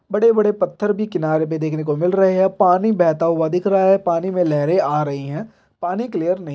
बड़े बड़े पत्थर भी किनारे पर दिखने को मिल रहे हैं पानी बहता हुआ दिख रहा है पानी में लहरे आ रही है पानी क्लियर नही है।